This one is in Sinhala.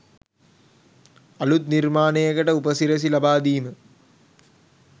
අළුත් නිර්මාණයකට උපසිරැසි ලබා දීම